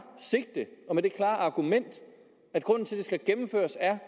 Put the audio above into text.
sigte og med det klare argument at grunden til at det skal gennemføres er